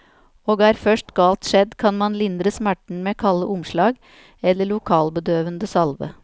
Og er først galt skjedd, kan man lindre smerten med kalde omslag eller lokalbedøvende salve.